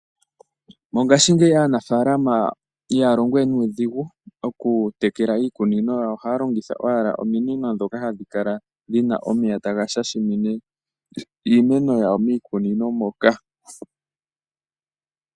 Mongashingeyi aanafaalama ihaalongo wenuudhigu okutekela iikunino yawo ohaa longitha owala ominino dhoka hadhi kala dhina omeya taga shashimine iimeno yawo miikunino moka.